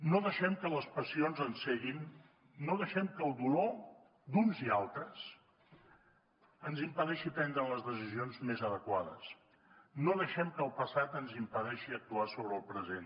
no deixem que les passions ens ceguin no deixem que el dolor d’uns i altres ens impedeixi prendre les decisions més adequades no deixem que el passat ens impedeixi actuar sobre el present